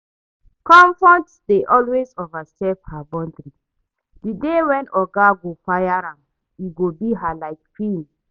Comfort dey always overstep her boundary, the day when oga go fire am e go be her like film